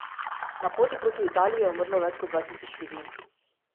Na poti proti Italiji je umrlo več kot dva tisoč ljudi.